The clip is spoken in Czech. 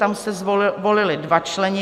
Tam se volili dva členové.